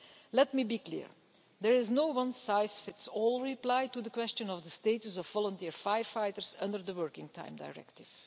Let me be clear there is no one-size-fits-all reply to the question of the status of volunteer firefighters under the Working Time Directive.